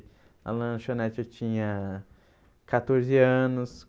Na lanchonete eu tinha catorze anos.